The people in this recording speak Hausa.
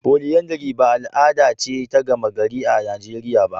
Polyandry ba al'ada ce ta gama gari a Najeriya ba.